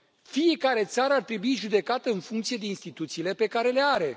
Fiecare țară ar trebui judecată în funcție de instituțiile pe care le are.